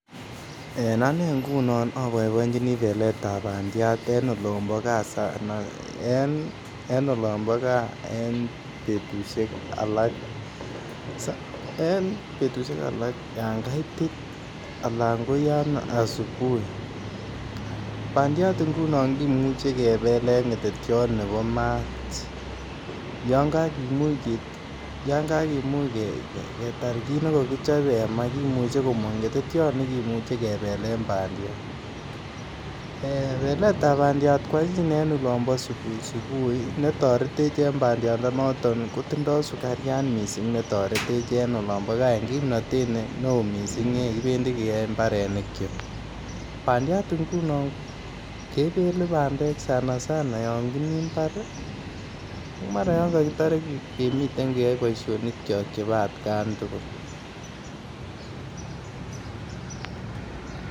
En Anee ngunon oo boiboenjinii beletab bandiat en olombo gaa Sana , en olombo gaa betusiek alak. En betusiek alak yan kaitit Alan ko yan asibuhi, bandiat ngunon kimuche kebel en ngetetiot nebo Maat yan kakimuch ketar kit be kokichobe en Maa kimuche komong ngetetiot nekimuche kebelen bandiat. Beletab bandiat kwanyin en olombo subuhi subuhi be toretech en bandiat ndo noton ko sukariat missing be toretech en olombo en kimnotet ne oo missing ye kibendi keyoe mbarenikyok. Bandiat ngunon kebelen bandek Sana Sana yon kimii mbar ii ak mara yon kokitore kemii boishonikyok chebo atkan tugul